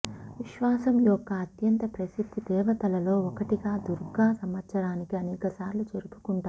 విశ్వాసం యొక్క అత్యంత ప్రసిద్ధ దేవతలలో ఒకటిగా దుర్గా సంవత్సరానికి అనేక సార్లు జరుపుకుంటారు